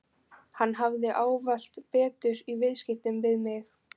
Hann hafði ávallt betur í viðskiptum við mig.